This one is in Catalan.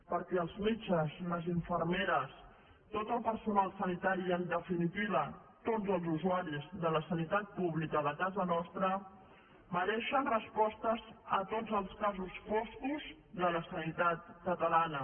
perquè els metges les infermeres tot el personal sanitari i en definitiva tots els usuaris de la sanitat pública de casa nostra mereixen respostes a tots els casos foscos de la sanitat catalana